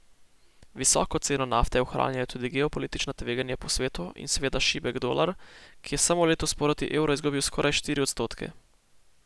Visoko ceno nafte ohranjajo tudi geopolitična tveganja po svetu in seveda šibek dolar, ki je samo letos proti evru izgubil skoraj štiri odstotke.